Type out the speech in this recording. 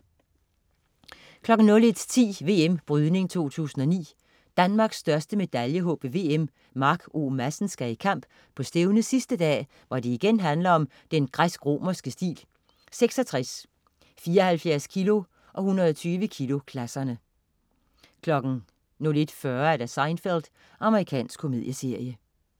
01.10 VM Brydning 2009. Danmarks største medaljehåb ved VM, Mark O. Madsen, skal i kamp på stævnets sidste dag, hvor det igen handler om den græsk-romerske stil: 66-, 74 kg- og 120 kg-klasserne 01.40 Seinfeld. Amerikansk komedieserie